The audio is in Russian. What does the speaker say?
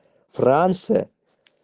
франция